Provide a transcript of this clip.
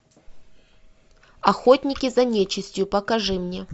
охотники за нечистью покажи мне